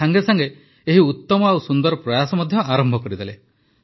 ସେ ସାଂଗେସାଂଗେ ଏହି ଉତ୍ତମ ଓ ସୁନ୍ଦର ପ୍ରୟାସ ଆରମ୍ଭ ମଧ୍ୟ କରିଦେଲେ